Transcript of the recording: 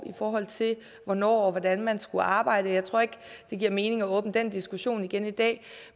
i forhold til hvornår og hvordan man skulle arbejde men jeg tror ikke det giver mening at åbne den diskussion igen i dag